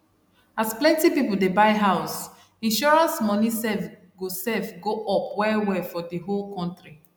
as plenti pipo dey buy house insurance moni sef go sef go up well well for di whole kontri